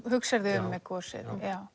hugsar þig um með gosið